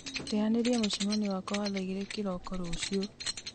teanĩria mũcemanio wakwa wa thaa igĩrĩ kĩroko rũciũ